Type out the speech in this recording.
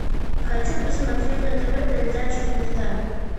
хочу посмотреть на тв передачу звезда